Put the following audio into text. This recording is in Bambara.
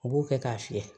U b'o kɛ k'a fiyɛ